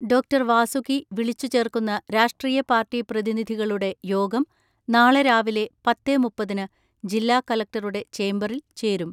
ഡാ. വാസുകി വിളിച്ചു ചേർക്കുന്ന രാഷ്ട്രീയ പാർട്ടി പ്രതിനിധികളുടെ യോഗം നാളെ രാവിലെ പത്തേ മുപ്പതിന് ജില്ലാ കളക്ടറുടെ ചേംബറിൽ ചേരും.